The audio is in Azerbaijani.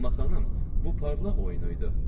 Amma xanım, bu parlaq oyunu idi.